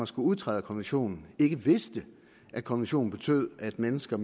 skulle udtræde af konventionen ikke vidste at konventionen betød at mennesker